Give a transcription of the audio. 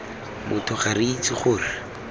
motho ga re itse gore